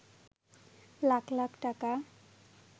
লাখ লাখ টাকা